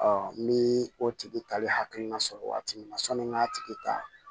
ni o tigi talen hakilina sɔrɔ waati min na sɔnni n k'a tigi ta